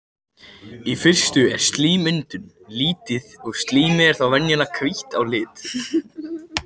Í fyrstu er slímmyndun lítil og slímið er þá venjulega hvítt að lit.